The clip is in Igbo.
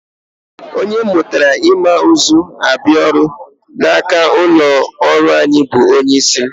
Onye m mụtara ịma ụzọ abịa ọrụ n'aka n'ụlọọrụ anyị bụ onyeisi m